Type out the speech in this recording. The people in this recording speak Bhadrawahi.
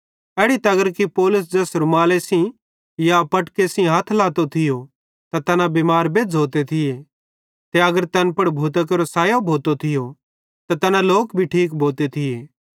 एड़ी तगर कि पौलुस ज़ैस रूमाले सेइं या फटके सेइं हथ लातो थियो त तैना बिमारन पुड़ छ़डते थिये त तैना बिमार बेज़्झ़ोते थिये ते अगर तैन पुड़ भूतां केरो सैयो भोतो थियो त तैना लोक ठीक भोते थिये